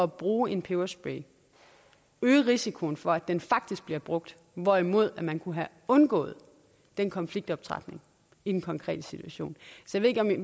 at bruge en peberspray øge risikoen for at den faktisk bliver brugt hvorimod man kunne have undgået den konfliktoptrapning i den konkrete situation jeg ved ikke om vi